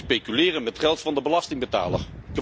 Speculeren met geld van de belastingbetaler.